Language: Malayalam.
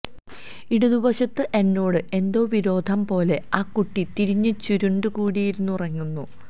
ഇടതുവശത്ത് എന്നോട് എന്തോ വിരോധംപോലെ ആ കുട്ടി തിരിഞ്ഞ് ചുരുണ്ടുകൂടിയിരുന്ന് ഉറങ്ങുന്നു